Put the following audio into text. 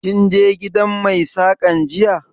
Kin je gidan mai Saƙan jiya?